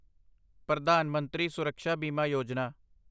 Pradhan Mantri Suraksha Bima Yojana